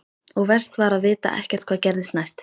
Og verst var að vita ekkert hvað gerðist næst.